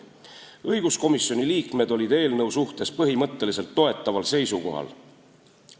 Õiguskomisjoni liikmed olid eelnõu suhtes põhimõtteliselt toetaval seisukohal.